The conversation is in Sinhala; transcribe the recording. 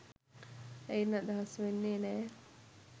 එයින් අදහස් වෙන්නේ නෑ